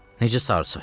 Necə sarı saç?